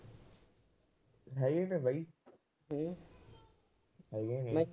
ਹੈਗੀਆਂ ਨੇ ਬਾਈ। ਹੈਗੀਆਂ ਨੇ।